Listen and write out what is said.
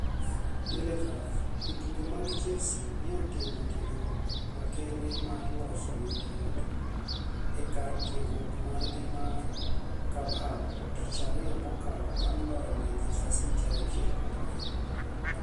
(Telegraph) Jotugo mag Chelsea ni e otimo tiegruok makenide mar 'loso winijruok' e kar tiegruok margi mar Cobham tich ariyo mokalo banig' loyo Manichester City 6 - 0.